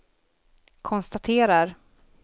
konstaterar